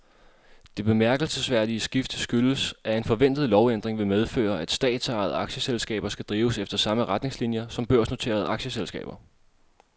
Det bemærkelsesværdige skifte skyldes, at en forventet lovændring vil medføre, at statsejede aktieselskaber skal drives efter samme retningslinier som børsnoterede aktieselskaber.